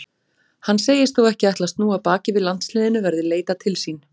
Hann segist þó ekki ætla að snúa baki við landsliðinu verði leitað til sín.